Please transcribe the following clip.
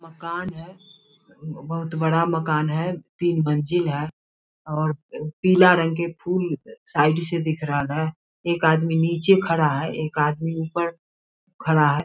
मकान है बहुत बड़ा मकान है तीन मंजिल है और पीला रंग के फूल साइड से दिख रहा है। एक आदमी नीचे खड़ा है एक आदमी ऊपर खड़ा है।